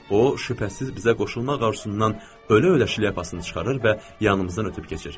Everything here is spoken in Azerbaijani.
O, şübhəsiz bizə qoşulmaq arzusundan ölə-ölə şilyapasını çıxarır və yanımızdan ötüb keçir.